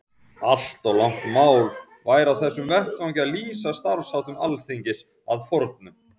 Allt of langt mál væri á þessum vettvangi að lýsa starfsháttum Alþingis að fornu.